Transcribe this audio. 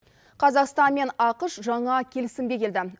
қазақстан мен ақш жаңа келісімге келді